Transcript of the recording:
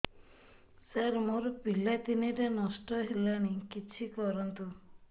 ସାର ମୋର ପିଲା ତିନିଟା ନଷ୍ଟ ହେଲାଣି କିଛି କରନ୍ତୁ